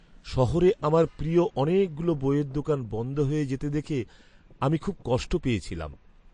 শহরে আমার প্রিয় অনেকগুলো বইয়ের দোকান বন্ধ হয়ে যেতে দেখে আমি খুব কষ্ট পেয়েছিলাম।